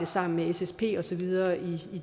sammen med ssp og så videre i